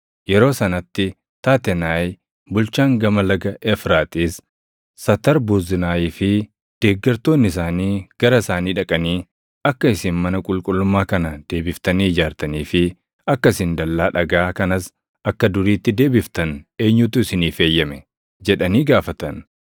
Yeroo sanatti Taatenaayi bulchaan Gama Laga Efraaxiis, Satarbuznaayii fi deeggartoonni isaanii gara isaanii dhaqanii, “Akka isin mana qulqullummaa kana deebiftanii ijaartanii fi akka isin dallaa dhagaa kanas akka duriitti deebiftan eenyutu isiniif eeyyame?” jedhanii gaafatan.